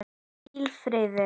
Hvílið í friði.